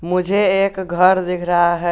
मुझे एक घर दिख रहा है।